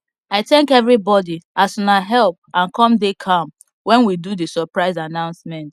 i thank everybody as una help and come dey calm when we do the suprise annoucement